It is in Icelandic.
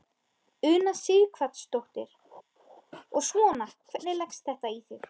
Una Sighvatsdóttir: Og svona, hvernig leggst þetta í þig?